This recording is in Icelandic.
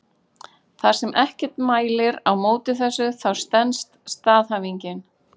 Þar sem ekkert mælir á móti þessu þá stenst staðhæfingin.